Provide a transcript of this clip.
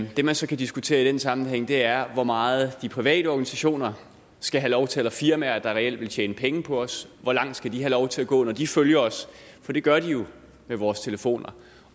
det man så kan diskutere i den sammenhæng er hvor meget de private organisationer skal have lov til eller firmaer der reelt vil tjene penge på os hvor langt skal de have lov til at gå når de følger os for det gør de jo via vores telefoner